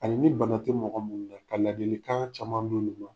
A li ni bana tɛ mɔgɔw munnan ka ladilikan caman d'olugu ma